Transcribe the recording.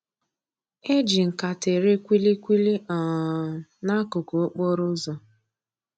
E ji nkata ere kwili kwili um n'akụkụ okporo ụzọ